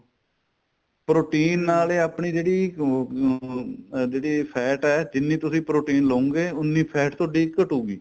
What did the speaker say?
protein ਨਾਲ ਆਪਣੀ ਜਿਹੜੀ ਉਹ ਜਿਹੜੀ fat ਏ ਜਿੰਨੀ ਤੁਸੀਂ protein ਲਉਗੇ ਉੰਨੀ fat ਤੁਹਾਡੀ ਘੱਟੂਗੀ